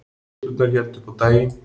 Skutlurnar héldu upp á daginn